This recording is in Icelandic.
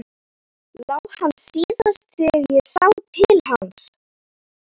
LÁ HANN SÍÐAST ÞEGAR ÉG SÁ TIL HANS.